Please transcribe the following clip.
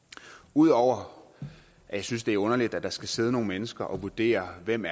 ud over at jeg synes det er underligt at der skal sidde nogle mennesker og vurdere hvem